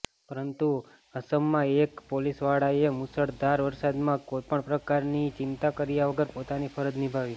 પરંતુ અસમમાં એક પોલીસવાળાએ મૂશળધાર વરસાદમાં કોઇપણ પ્રકારની ચિંતા કર્યા વગર પોતાની ફરજ નિભાવી